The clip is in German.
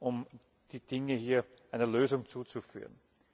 um die Dinge einer Lösung zuzuführen.